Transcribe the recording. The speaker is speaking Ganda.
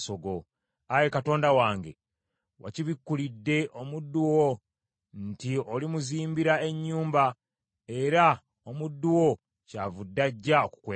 “Ayi Katonda wange, wakibikulidde omuddu wo nti olimuzimbira ennyumba, era omuddu wo kyavudde ajja okukwebaza.